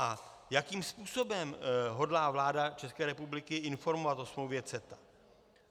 A jakým způsobem hodlá vláda České republiky informovat o smlouvě CETA?